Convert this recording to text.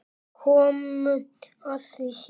Komum að því síðar.